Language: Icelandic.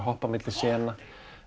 hoppa á milli sena